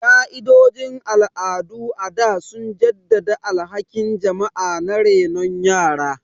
Ka'idojin al'adu a da sun jaddada alhakin jama'a na renon yara.